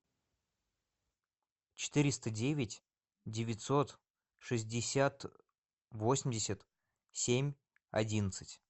четыреста девять девятьсот шестьдесят восемьдесят семь одиннадцать